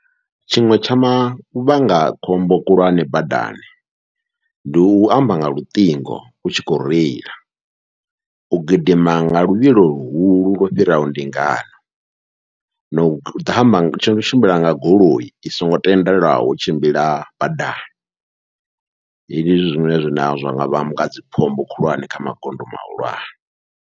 Tshiṅwe tsha mavhanga khombo khulwane badani, ndi u amba nga luṱingo u tshi khou reila, u gidima nga luvhilo luhulu lwo fhiraho ndingano, nau ḓo amba no tshimbila nga goloi i songo tendelwaho u tshimbila badani, hezwi ndi zwine zwanga vhanga dzi khombo khulwane kha magondo mahulwane.